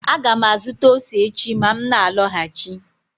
Aga m azụta ose echi ma m na-alọghachi